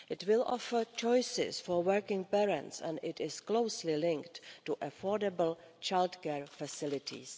It will offer choices for working parents and is closely linked to affordable childcare facilities.